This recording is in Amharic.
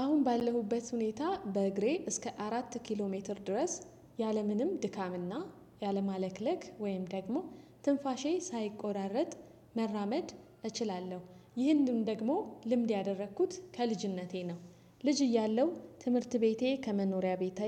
አሁን ባለሁበት ሁኔታ በእግሬ እስከ አራት ኪሎ ሜትር ድረስ ያለምንም ድካምና ያለማለክለክ ወይም ደግሞ ትንፋሼ ሳይቆራረጥ መራመድ እችላለሁ። ይህንም ደግሞ ልምድ ያደረኩት ከልጅነቴ ነው። ልጅ እያለሁ ትምህርት ቤቴ ከመኖሪያ ቤቴ